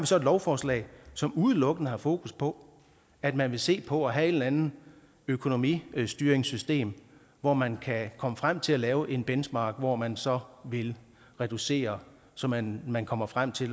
så et lovforslag som udelukkende har fokus på at man vil se på at have et eller andet økonomistyringssystem hvor man kan komme frem til at lave en benchmark hvor man så vil reducere så man man kommer frem til